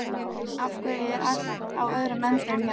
Af hverju er allt á öðrum endanum hérna?